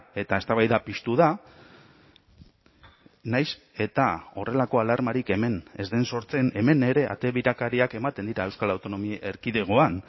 eta eztabaida piztu da nahiz eta horrelako alarmarik hemen ez den sortzen hemen ere ate birakariak ematen dira euskal autonomia erkidegoan